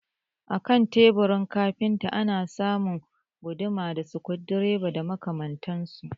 A kan teburin kafinta ana samun guduma da sikurudireba da makamantansu